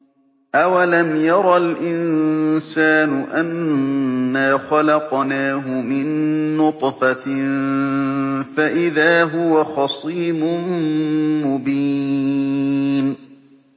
أَوَلَمْ يَرَ الْإِنسَانُ أَنَّا خَلَقْنَاهُ مِن نُّطْفَةٍ فَإِذَا هُوَ خَصِيمٌ مُّبِينٌ